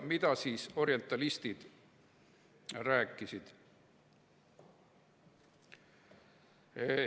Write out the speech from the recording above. Mida orientalistid rääkisid?